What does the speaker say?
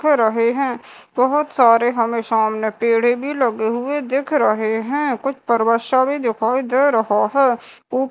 रहें हैं बहोत सारे हमें सामने पेड़े भी लगे हुए दिख रहें हैं कुछ पर्वत शा भीं दिखाई दे रहा हैं ऊ--